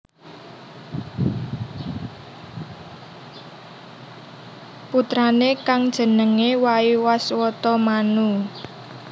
Putrané kang jenengé Waiwaswata Manu